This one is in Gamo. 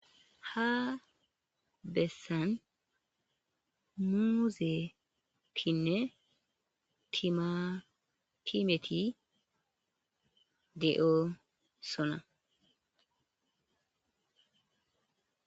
ha bessan muuzetinne timatimeti de'osona